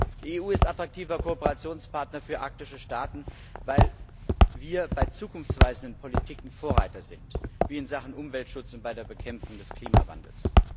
Die EU ist attraktiver Kooperationspartner für arktische Staaten, weil wir bei zukunftsweisenden Bereichen der Politik Vorreiter sind wie in Sachen Umweltschutz und bei der Bekämpfung des Klimawandels.